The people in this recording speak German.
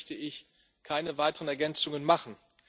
dazu möchte ich keine weiteren Ergänzungen machen.